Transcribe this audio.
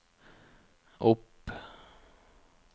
opp